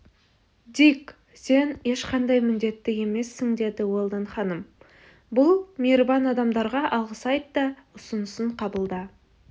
дик сен ешқандай міндетті емессің деді уэлдон ханым бұл мейірбан адамдарға алғыс айт та ұсынысын қабылда